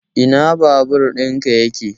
Ina babur ɗin ka yake?